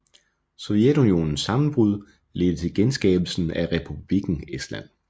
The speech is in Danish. Sovjetunionens sammenbrud ledte til genskabelsen af Republikken Estland